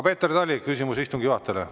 Peeter Tali, küsimus istungi juhatajale.